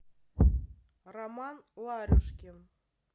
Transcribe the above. роман ларюшкин